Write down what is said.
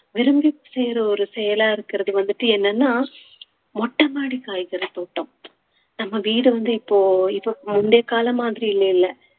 விரும்பி செய்ற ஒரு செயலாக இருக்கிறது வந்துட்டு என்னன்னா மொட்டை மாடி காய்கறி தோட்டம் நம்ம வீடு வந்து இப்போ இப்போ முந்தைய காலம் மாதிரி இல்லைல